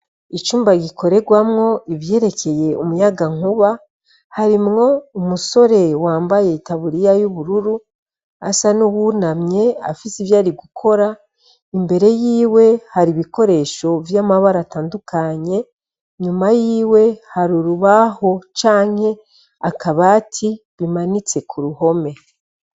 Icumba gikorerwano ivyerekeye umuyaga nkuba harimwo umusore yambaye itaburiya yubururu asa nuwunamye afise ivyari gukora imbere yiwe hari ibikoresho vyamabara atandukanye nyuma yiwe harurubaho canke akabati bimanitse kuruhome